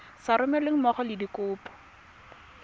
sa romelweng mmogo le dikopo